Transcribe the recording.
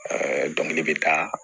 dɔnkili bɛ taa